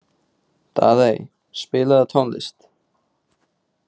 Daðey, spilaðu tónlist.